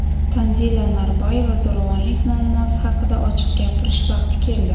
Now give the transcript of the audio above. Tanzila Norboyeva: Zo‘ravonlik muammosi haqida ochiq gapirish vaqti keldi.